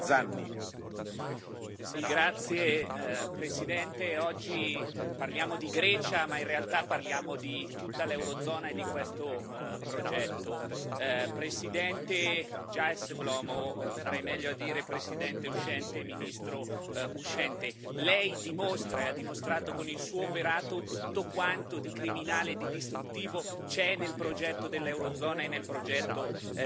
Signor Presidente, onorevoli colleghi, oggi parliamo di Grecia, ma in realtà parliamo di tutta l'Eurozona e di questo progetto. Presidente Dijsselbloem farei meglio a dire presidente uscente e ministro uscente lei dimostra e ha dimostrato con il suo operato tutto quanto di criminale e di distruttivo c'è nel progetto dell'Eurozona e nel progetto